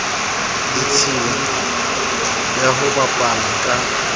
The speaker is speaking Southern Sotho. ditshila ya ho bapala ka